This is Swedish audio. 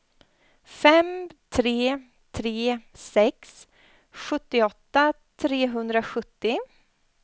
fem tre tre sex sjuttioåtta trehundrasjuttio